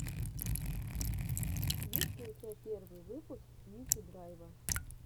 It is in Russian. есть ли у тебя первый выпуск мити драйва